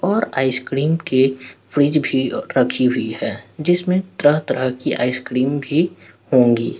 और आइसक्रीम के फ्रिज भी रखी हुई हैं जिसमे तरह तरह कि आइसक्रीम भी होंगी।